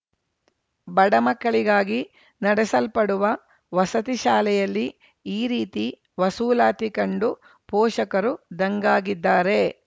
ಬಡ ಮಕ್ಕಳಿಗಾಗಿ ನಡೆಸಲ್ಪಡುವ ವಸತಿ ಶಾಲೆಯಲ್ಲಿ ಈ ರೀತಿ ವಸೂಲಾತಿ ಕಂಡು ಪೋಷಕರು ದಂಗಾಗಿದ್ದಾರೆ